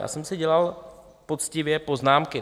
Já jsem si dělal poctivě poznámky.